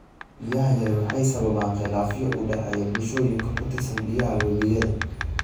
Biyaha yari waxay sababaan khilaafyo u dhexeeya bulshooyinka ku tiirsan biyaha webiyada.